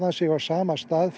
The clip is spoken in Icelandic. sig á sama stað